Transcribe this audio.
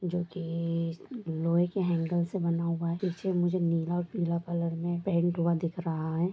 जो कि लोहें की एंगल से बना हुआ है पीछे मुझे नीला और पिला कलर में पेंट हुआ दिख रहा है।